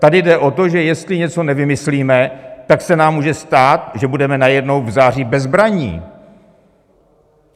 Tady jde o to, že jestli něco nevymyslíme, tak se nám může stát, že budeme najednou v září bezbranní.